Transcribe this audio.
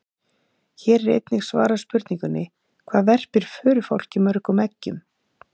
Hér er einnig svarað spurningunni: Hvað verpir förufálki mörgum eggjum?